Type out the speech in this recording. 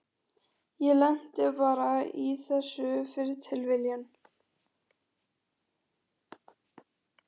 Ég lenti bara í þessu fyrir tilviljun.